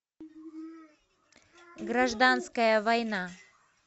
гражданская война